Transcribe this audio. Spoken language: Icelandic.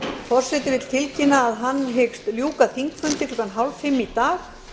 forseti vill tilkynna að hann hyggst ljúka þingfundi klukkan sextán þrjátíu í dag